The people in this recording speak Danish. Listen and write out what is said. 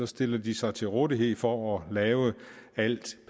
stiller de sig til rådighed for at lave alt